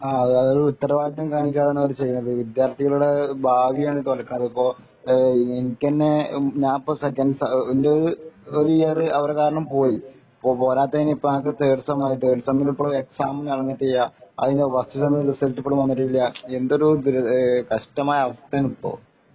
അതൊരു ഉത്തരവാദിത്വം കാണിക്കാതെയാണ് അവര് ചെയ്യുന്നത് വിദ്യാര്‍ത്ഥികളുടെ ഭാവിയാണ് തൊലക്കണത് ഇപ്പൊ എനിക്കന്നെ ഞാന്‍ സെക്കന്റ് സെമ എന്‍റെ ഒരു ഇയര്‍ അവർ കാരണം പോയി